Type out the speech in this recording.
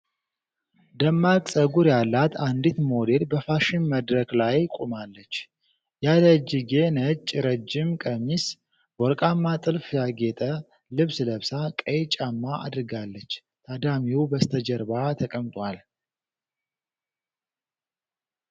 ደማቅ ጸጉር ያላት አንዲት ሞዴል በፋሽን መድረክ ላይ ቆማለች። ያለእጅጌ፣ ነጭ፣ ረጅም ቀሚስ በወርቃማ ጥልፍ ያጌጠ ልብስ ለብሳ ቀይ ጫማ አድርጋለች። ታዳሚው በስተጀርባ ተቀምጧል።